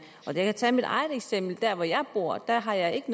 kan jeg tage mit eget eksempel fra hvor jeg bor der har jeg ikke